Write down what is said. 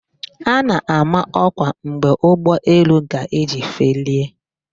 A na-ama ọkwa mgbe ụgbọelu ga-eji felie